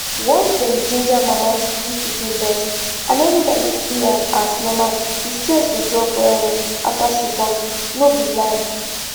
once dem ginger mama to give pikin breast and everybody see am as normal the stress go drop wellwell after she born no be lie